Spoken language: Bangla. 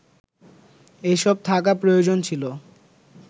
এসব থাকা প্রয়োজন ছিল